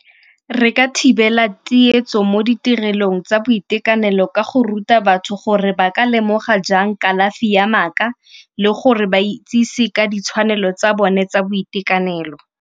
Re ka thibela tsietso mo ditirelong tsa boitekanelo ka go ruta batho gore ba ka lemoga jang kalafi ya maaka le gore ba itsise ka ditshwanelo tsa bone tsa boitekanelo.